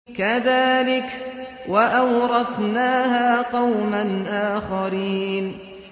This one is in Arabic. كَذَٰلِكَ ۖ وَأَوْرَثْنَاهَا قَوْمًا آخَرِينَ